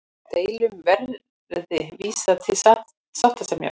Deilum verði vísað til sáttasemjara